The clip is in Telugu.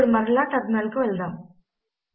ఇప్పుడు మరలా టెర్మినల్ కు వెళదాము